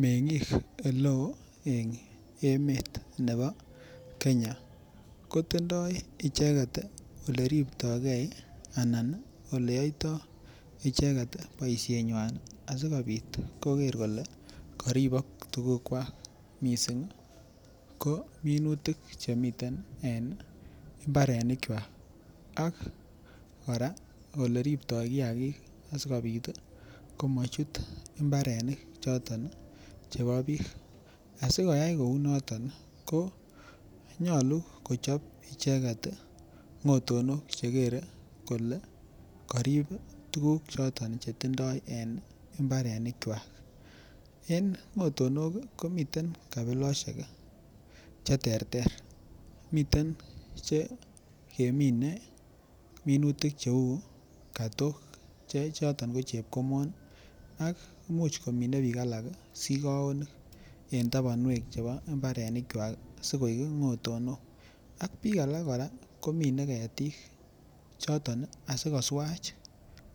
Mengik eleo en emet nebo Kenya ko tindoi icheket oleribtoikei anan oleyoitoi icheket boishenywan asikobit koker kolee koribok tukukwak mising ko minutik chemiten en mbarenikwak ak kora oleribtoi kiakik asikobit komochut imbarenik choton chebo biik, asikoyai kounoton ko nyolu kochob icheket ngotonok chekere kolee korib tukuk choton chetindo en imbarenikwak, en ngotonok komiten kabiloshek cheterter, miten che kemine minutik cheuu kotok chechoton ko chepkomon ak imuch komine biik alak sikowonik en tabonwekab imbaonikwak sikoik ngotonok ak biik alak komine ketik choton asikoswach